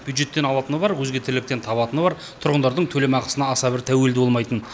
бюджеттен алатыны бар өзге тірліктен табатыны бар тұрғындардың төлемақысына аса бір тәуелді болмайтын